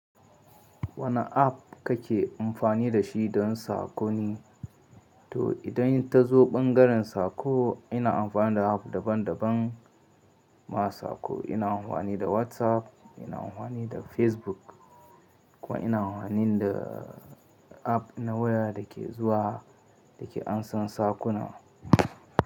Wane app kake amfani da shi don sako ne? To idan ta zo ɓangaren sako ina amfani da app daban daban ma sako. Ina amfani da WhatsApp, ina amfani da Facebook kuma ina amfani da app na waya da ke zuwa da ke ansan sakonnan.